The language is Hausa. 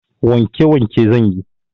Wanke wanke zanyi